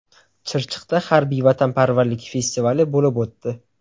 Chirchiqda harbiy-vatanparvarlik festivali bo‘lib o‘tdi.